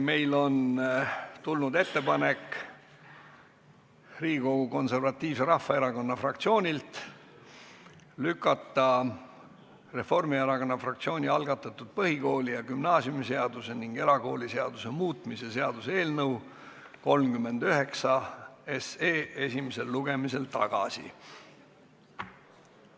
Meile on tulnud Eesti Konservatiivse Rahvaerakonna fraktsioonilt ettepanek lükata Reformierakonna fraktsiooni algatatud põhikooli- ja gümnaasiumiseaduse ning erakooliseaduse muutmise seaduse eelnõu 39 esimesel lugemisel tagasi.